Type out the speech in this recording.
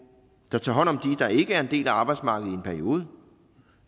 der tager hånd om dem der ikke er en del af arbejdsmarkedet i en periode